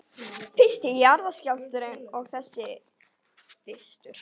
Fyrst jarðskjálftinn og svo þessi þytur.